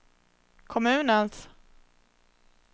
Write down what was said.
kommunens